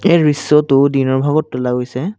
এই দৃশ্যটো দিনৰ ভাগত তোলা গৈছে।